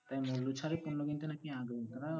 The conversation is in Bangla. তাই মূল্য ছাড়ের পণ্য কিনতে নাকি আগ্রহীতারাও